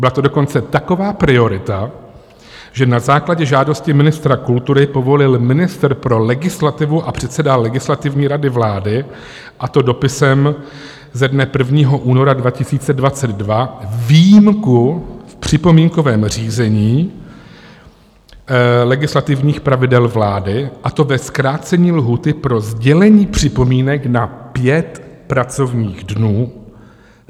Byla to dokonce taková priorita, že na základě žádosti ministra kultury povolil ministr pro legislativu a předseda Legislativní rady vlády, a to dopisem ze dne 1. února 2022, výjimku v připomínkovém řízení legislativních pravidel vlády, a to ve zkrácení lhůty pro sdělení připomínek na pět pracovních dnů.